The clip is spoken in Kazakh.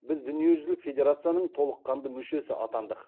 біз дүниежүзілік федерацияның толыққанды мүшесі атандық